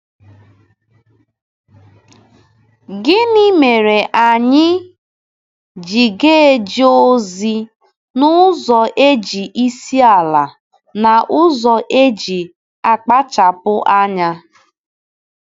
Gịnị mere anyị ji ga-eje ozi n’ụzọ e ji isi ala na n’ụzọ e ji akpachapụ anya?